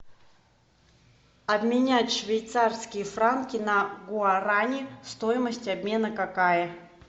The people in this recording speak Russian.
обменять швейцарские франки на гуарани стоимость обмена какая